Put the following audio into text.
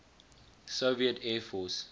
soviet air force